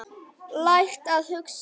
Lært að hugsa.